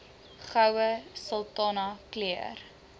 goue sultana keur